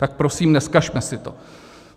Tak prosím, nezkazme si to.